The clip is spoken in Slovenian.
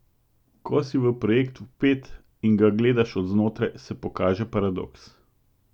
Ko si v projekt vpet in ga gledaš od znotraj, se pokaže paradoks.